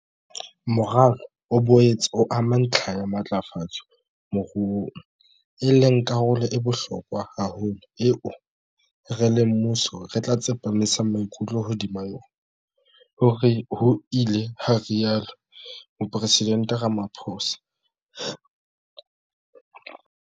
"Moralo o boetse o ama ntlha ya matlafatso moruong, e leng karolo e bohlokwa haholo eo rona, re le mmuso, re tla tsepamisa maikutlo hodima yona," ho ile ha rialo Mopresidente Ramaphosa.